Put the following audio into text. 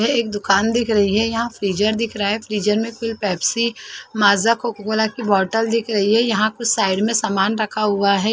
ये एक दुकान दिख रही है यहाँ फ्रीजर दिख रहा है फ्रीजर में कुछ पेप्सी माजा कोको-कोला की बॉटल दिख रही है यहाँ कुछ साइड में सामान रखा हुआ है।